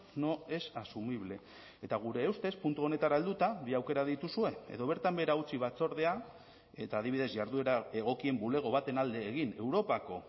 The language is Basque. no es asumible eta gure ustez puntu honetara helduta bi aukera dituzue edo bertan behera utzi batzordea eta adibidez jarduera egokien bulego baten alde egin europako